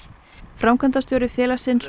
framkvæmdastjóri félagsins